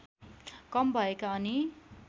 कम भएका अनि